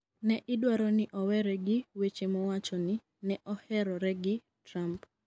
ne idwaro ni owere gi weche mowacho ni ne oherore gi Trump